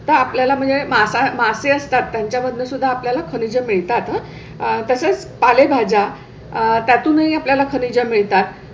तर आपल्याला म्हणजे मासे असतात. त्यांच्या मधून सुद्धा आपल्या ला खनिज मिळतात आह. तसेच पालेभाज्या आहे. त्या तूनही आपल्या ला खनीज मिळतात.